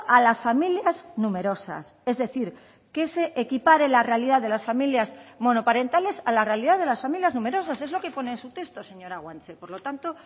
a las familias numerosas es decir que se equipare la realidad de las familias monoparentales a la realidad de las familias numerosas es lo que pone en su texto señora guanche por lo tanto